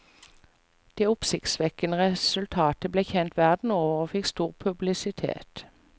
Det oppsiktsvekkende resultatet ble kjent verden over og fikk stor publisitet.